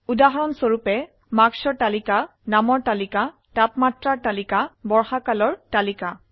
উদাহৰণস্বৰুপে মাৰ্ক্সৰ তালিকা নামৰ তালিকা তাপমাত্ৰাৰ তালিকা বৰ্ষাকালৰ তালিকা